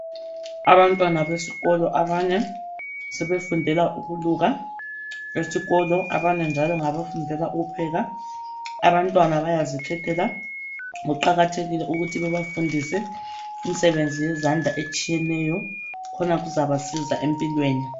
Abantwana besikolo abanye sebefundela ukuluka esikolo, abanye njalo ngabafundela ukupheka. Abantwana bayazikhethela. Kuqakathekile ukuthi bafunde imisebenzi ehlukeneyo yezandla siza empilweni.